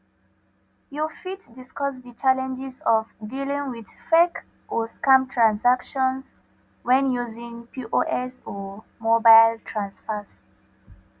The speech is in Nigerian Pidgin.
you fit discuss di challenges of dealing with fake or scam transactions when using pos or mobile transfers